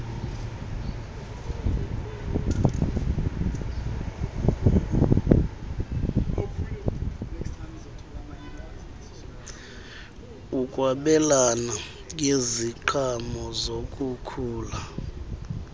ukwabelana ngeziqhamo zokukhula